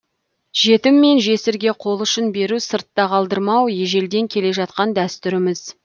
жетім мен жесірге қолұшын беру сыртта қалдырмау ежелден келе жатқан дәстүріміз